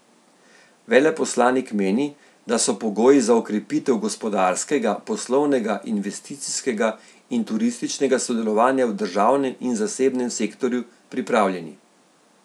Veleposlanik meni, da so pogoji za okrepitev gospodarskega, poslovnega, investicijskega in turističnega sodelovanja v državnem in zasebnem sektorju pripravljeni.